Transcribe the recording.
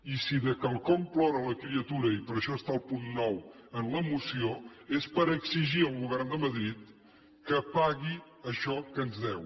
i si de quelcom plora la criatura i per això hi ha el punt nou en la moció és per exigir al govern de madrid que pagui això que ens deu